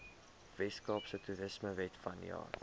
weskaapse toerismewet vanjaar